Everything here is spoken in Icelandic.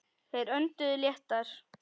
Þeir önduðu léttar.